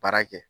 Baara kɛ